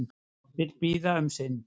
Vill bíða um sinn